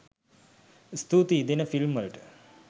ස්තුතියි දෙන ෆිල්ම් වලට